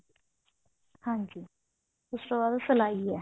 ਹਾਂਜੀ ਉਸ ਤੋਂ ਬਾਅਦ ਸਲਾਈ ਹੈ